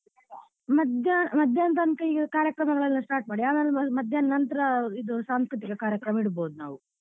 ಮಧ್ಯಾಹ್ನ ತನಕ ಈಗ ಕಾರ್ಯಕ್ರಮಗಳೆಲ್ಲ start ಮಾಡಿ ಮಧ್ಯಾಹ್ನ ನಂತ್ರ ಇದು ಸಾಂಸ್ಕೃತಿಕ ಕಾರ್ಯಕ್ರಮ ಇಡ್ಬೋದು ನಾವು.